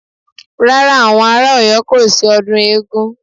Rárá, àwọn ará Ọ̀yọ́ kò ṣe ọdún eégún